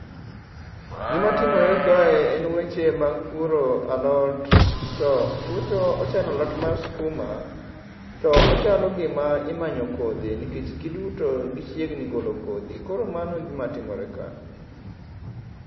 Gima timore kae en weche mag puro alot. To chutho ochalo alot mar skuma to ochalo gima imanyo kodhi nikech giduto gichiegni golo kodhi koro mano e gima timore ka